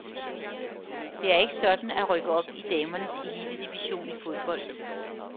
Det er ikke sådan at rykke op i damernes elitedivision i fodbold.